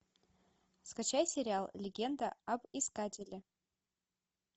скачай сериал легенда об искателе